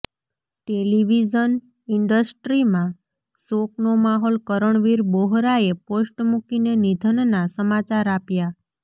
television ઈન્ડસ્ટ્રીમાં શોકનો માહોલઃ કરણવીર બોહરાએ પોસ્ટ મૂકીને નિધનના સમાચાર આપ્યા